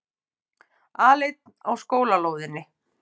Aleinn á skólalóðinni.